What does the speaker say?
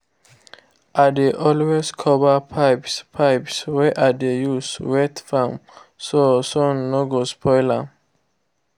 i dey always cover pipes pipes wey i dey use wet farm so sun no go spoil am